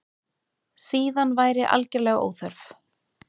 Síðan væri algerlega óþörf